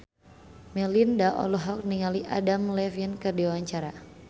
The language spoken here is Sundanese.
Melinda olohok ningali Adam Levine keur diwawancara